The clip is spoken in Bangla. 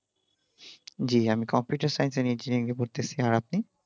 জী আমি computer science and engineer নিয়ে পড়তেছি আর আপনি